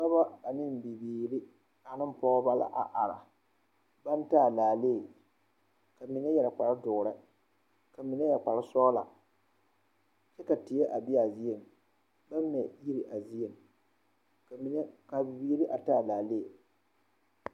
Dɔba ane bibiiri ane pɔgeba la a arebaŋ taa laalee ka mine yɛre kpare doɔre ka mine yɛre kpare sɔglakyɛ ka teɛ a be a zieŋ baŋ mɛ yiri a zieŋ kaa bibiiri taa laalee.